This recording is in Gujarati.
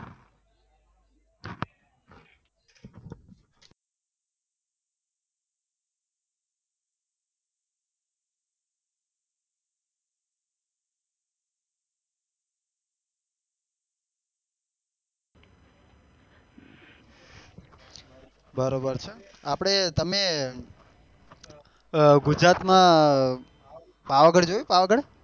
બરોબર છે આપડે તમે અ ગુજરાત માં પાવાગઢ જોયું પાવાગઢ જોયું